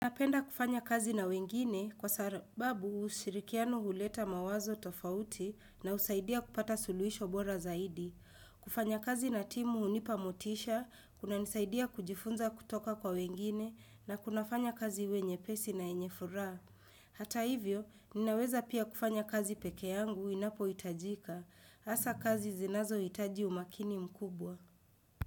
Napenda kufanya kazi na wengine kwa sababu ushirikianu huleta mawazo tofauti na usaidia kupata sulwisho bora zaidi. Kufanya kazi na timu hunipa motisha, kunanisaidia kujifunza kutoka kwa wengine na kuna fanya kazi wenye pesi na enye furaa. Hata hivyo, ninaweza pia kufanya kazi peke yangu inapohitajika. Asa kazi zinazo itaji umakini mkubwa.